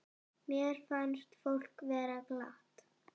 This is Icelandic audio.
Mér fannst fólk vera glatt.